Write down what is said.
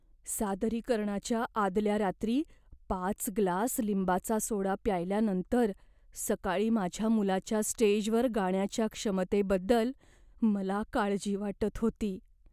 सादरीकरणाच्या आदल्या रात्री पाच ग्लास लिंबाचा सोडा प्यायल्यानंतर सकाळी माझ्या मुलाच्या स्टेजवर गाण्याच्या क्षमतेबद्दल मला काळजी वाटत होती.